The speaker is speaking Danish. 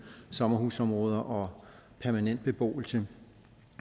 sommerhusområder og permanent beboelse